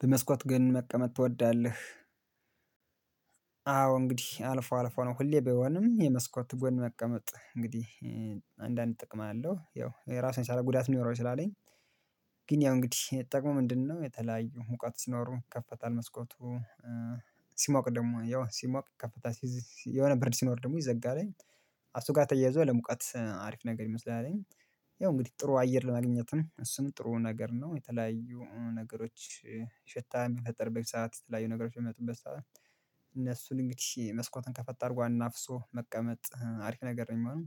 በመስኮት ግን መቀመጥ ትወዳለህ? አዎ እንግዲህ አልፎ አልፎ ነው ሁሌ ባይሆንም የመስኮት ጎን መቀመጥ እንግዲህ አንዳንድ ጥቅም አለው ያው የራሱን የቻለ ጉዳት የሊኖረው ይችላልኝ። ግን ያው እንግዲህ ጥቅሙ ምንድነው የተለያዩ ሙቀት ሲኖሩ ይከፈታል መስኮቱ። ሲሞቅ ደግሞ ያው ሲሞቅ ከፍታ። የሆነ ብርድ ሲኖር ደግሞ ይዘጋልኝ። አሱ ጋር ተያይዞ ለሙቀት አሪፍ ነገር መሰለኛ። ያው እንግዲህ ጥሩ አየር ለማግኘትም እሱም ጥሩ ነገር ነው። የተለያዩ ነገሮች ሽታ በሚፈጠርበት ሰዓት የተለያዩ ነገሮች በሚመጡበት ሰዓት እነሱን እንግዲህ መስኮትን ከፈታ አርጎ አናፍሶ መቀመጥ አሪፍ ነገር ነው ሚሆነው።